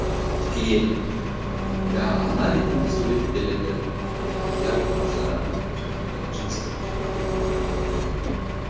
әйел иә ана ретінде суреттеледі і иә болмаса жаңағы жыныстық обьект ретінде суреттеледі